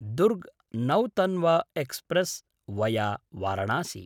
Durg Nautanwa express via Varanasi